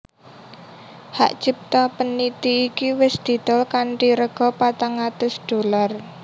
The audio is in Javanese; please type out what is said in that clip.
Hak cipta peniti iki wis didol kanthi rega patang atus dolar